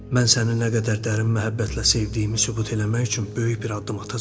Mən səni nə qədər dərin məhəbbətlə sevdiyimi sübut eləmək üçün böyük bir addım atacağam.